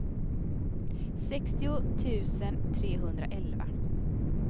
sextio tusen trehundraelva